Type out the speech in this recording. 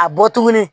A bɔ tuguni